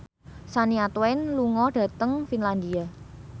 Shania Twain lunga dhateng Finlandia